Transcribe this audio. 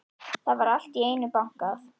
Það var allt í einu bankað.